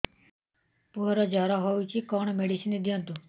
ପୁଅର ଜର ହଉଛି କଣ ମେଡିସିନ ଦିଅନ୍ତୁ